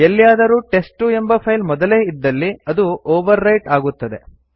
ಎಲ್ಲಿಯಾದರೂ ಟೆಸ್ಟ್2 ಎಂಬ ಫೈಲ್ ಮೊದಲೇ ಇದ್ದಲ್ಲಿ ಅದು ಓವರ್ ರೈಟ್ ಆಗುತ್ತದೆ